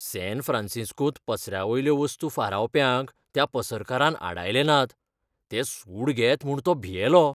San फ्रॅन्सिस्कोंत पसऱ्यावयल्यो वस्तू फारावप्यांक त्या पसरकारान आडायले नात. ते सूड घेत म्हूण तो भियेलो.